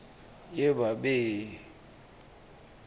yebabe